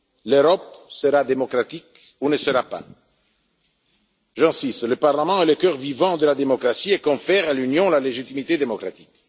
L'Europe sera démocratique ou ne sera pas. J'insiste, le Parlement est le cœur vivant de la démocratie et confère à l'Union la légitimité démocratique.